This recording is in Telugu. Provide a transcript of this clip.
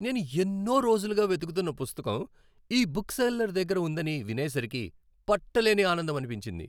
నేను ఎన్నో రోజులుగా వెతుకుతున్న పుస్తకం ఈ బుక్ సెల్లర్ దగ్గర ఉందని వినేసరికి పట్టలేని ఆనందమనిపించింది!